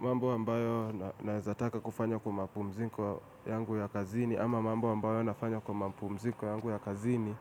Mambo ambayo nawezataka kufanya kwa mapumzinko yangu ya kazini ama mambo ambayo nafanya kwa mapumzinko yangu ya kazini